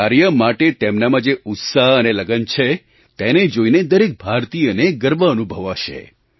આ કાર્ય માટે તેમનામાં જે ઉત્સાહ અને લગન છે તેને જોઈને દરેક ભારતીયને ગર્વ અનુભવાશે